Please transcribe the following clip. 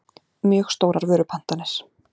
mjög stórar vörupantanir.